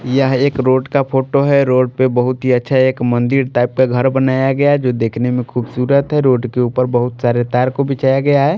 यह एक रोड का फोटो है रोड पे बहुत ही अच्छा एक मंदिर टाइप का घर बनाया गया जो देखने में खूबसूरत है रोड के ऊपर बहुत सारे तार को बिछाया गया है।